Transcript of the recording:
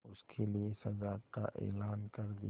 उसके लिए सजा का ऐलान कर दिया